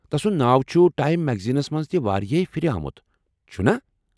تس سنٛد ناو چھ ٹایم میگزیٖنس منٛز تہ واریاہ پھر آمت، چٗھنا؟